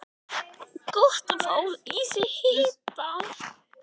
Gott að fá í sig hita.